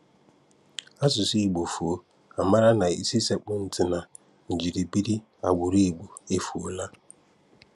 Asụ̀sụ́ Ìgbò fụ̀ọ́, a m̀àrà na ísì sèkpụ̀ntì na njírìbìrì agbụrụ Ìgbò efùòlà.